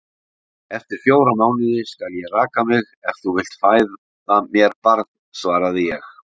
Eftir fjóra mánuði skal ég raka mig, ef þú vilt fæða mér barn, svaraði ég.